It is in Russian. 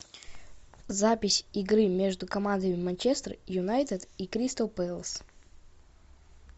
запись игры между командами манчестер юнайтед и кристал пэлас